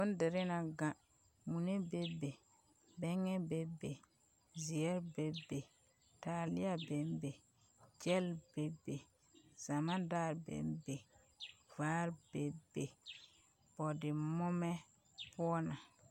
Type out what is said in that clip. Bondirii na gaŋ mune bebe, bԑŋԑ bebe, zeԑre bebe, taaleԑ bembe, gyԑl bebe, zama daarebembe, vaare bembe, bͻͻdde-moomͻ poͻ na.